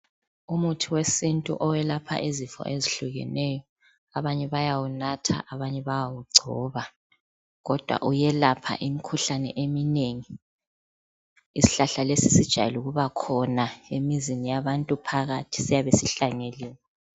Umuthi wesintu owelapha izifo ezehlukeneyo abanye bayawunatha abanye bayawugcoba kodwa uyelapha imkhuhlane emnengi isihlahla lesi sijayele ukubakhona emizini yabantu phakathi siyabe sihlanyeliwe